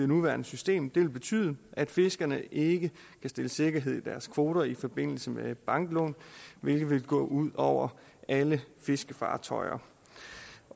nuværende system ville betyde at fiskerne ikke kan stille sikkerhed i deres kvoter i forbindelse med banklån hvilket vil gå ud over alle fiskerfartøjer